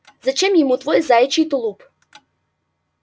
зачем ему твой заячий тулуп